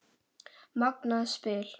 Magnað spil.